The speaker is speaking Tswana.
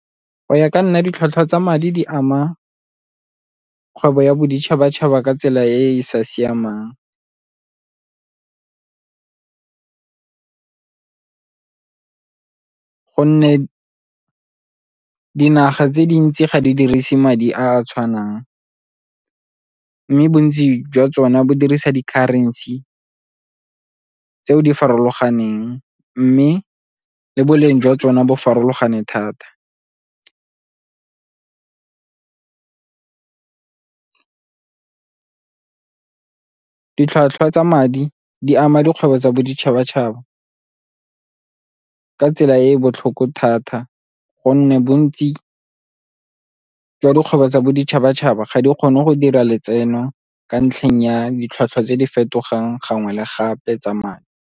Go ya ka nna ditlhwatlhwa tsa madi di ama kgwebo ya boditšhabatšhaba ka tsela e e sa siamang go nne dinaga tse dintsi ga di dirise madi a a tshwanang mme bontsi jwa tsone bo dirisa di-currency tseo di farologaneng mme le boleng jwa tsone bo farologane thata. Ditlhwatlhwa tsa madi di ama dikgwebo tsa boditšhabatšhaba ka tsela e e botlhoko thata gonne bontsi jwa dikgwebo tsa boditšhabatšhaba ga di kgone go dira letseno ka ntlheng ya ditlhwatlhwa tse di fetogang gangwe le gape tsa madi.